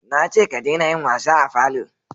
na ce ka dena yin wasa a falo!